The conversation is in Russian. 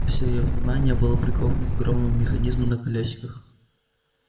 всё её внимание было приковано к огромному механизму на колёсиках